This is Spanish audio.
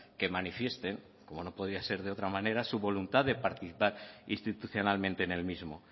que manifiesten como no podía ser de otra manera su voluntad de participar institucionalmente en el mismo